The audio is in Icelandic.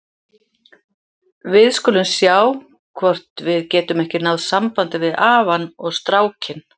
Við skulum sjá hvort við getum ekki náð sambandi við afann og strákinn.